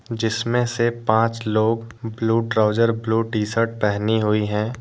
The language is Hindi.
जिसमें से पांच लोग blue trouser blue T shirt पहनी हुई है।